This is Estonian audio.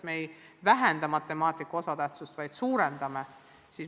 Me ei vähenda matemaatika osatähtsust, vaid suurendame.